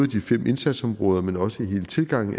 de fem indsatsområder men også hele tilgangen